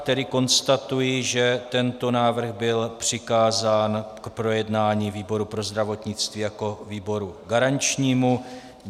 Tedy konstatuji, že tento návrh byl přikázán k projednání výboru pro zdravotnictví jako výboru garančnímu.